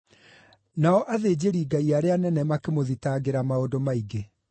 Nao athĩnjĩri-Ngai arĩa anene makĩmũthitangĩra maũndũ maingĩ.